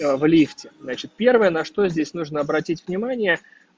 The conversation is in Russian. в лифте значит первое на что здесь нужно обратить внимание